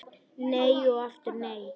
Nei og aftur nei.